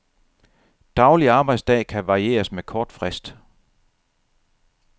Daglig arbejdsdag kan varieres med kort frist.